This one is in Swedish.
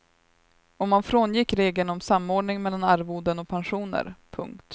Och man frångick regeln om samordning mellan arvoden och pensioner. punkt